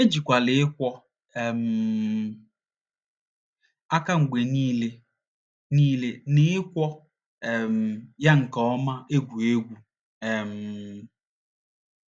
Ejikwala ịkwọ um aka mgbe niile niile na ịkwọ um ya nke ọma egwu egwu um.